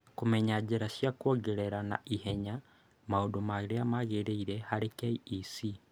Kũmenya njĩra cia kwongerera na ihenya maũndũ marĩa magĩrĩire harĩ KEC